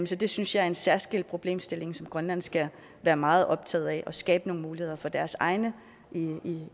så det synes jeg er en særskilt problemstilling som grønland skal være meget optaget af at skabe nogle muligheder for deres egne